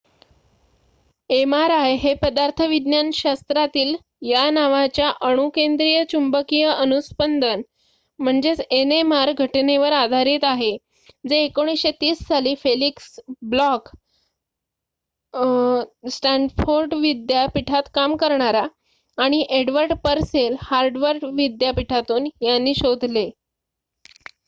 mri हे पदार्थविज्ञान शास्त्रातील या नावाच्या अणुकेंद्रिय चुंबकीय अनूस्पंदन nmr घटनेवर आधारित आहे जे 1930 साली फेलिक्स ब्लॉक स्टँफोर्ड विद्यापीठात काम करणारा आणि एडवर्ड परसेल हार्वर्ड विद्यापीठातून यांनी शोधले